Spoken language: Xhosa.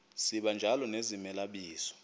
sibanjalo nezimela bizo